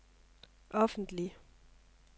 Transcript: offentlig